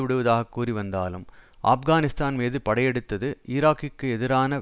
விடுவதாகக் கூறி வந்தாலும் ஆப்கானிஸ்தான் மீது படையெடுத்தது ஈராக்கிற்கு எதிரான